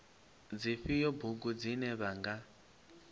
dzifhio bugu dzine vha nga